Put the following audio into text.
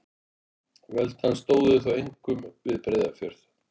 Völd hans stóðu þó einkum við Breiðafjörð.